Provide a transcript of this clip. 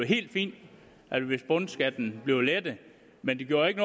helt fint hvis bundskatten blev lettet men det gjorde jo ikke